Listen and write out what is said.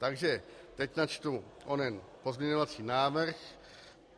Takže teď načtu onen pozměňovací návrh.